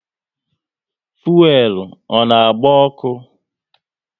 Fuelu ọ na agba ọkụ?